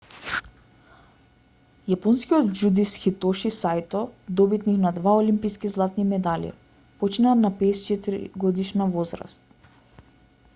јапонскиот џудист хитоши саито добитник на два олимписки златни медали почина на 54-годишна возраст